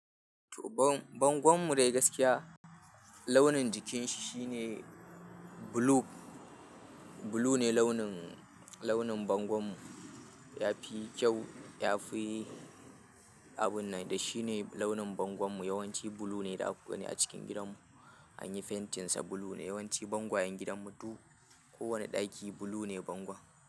To bang-bangon mu dai gaskiya launin jikin shi shine blue, blue ne launin, launin bangon mu. Ya fi kyau, ya fi abun nan da shi ne launin bangon mu. Yawanci blue ne a cikin gidan mu. An yi fentin sa blue ne, yawanci bangwayen gidan mu duk kowane ɗaki blue ne bangon.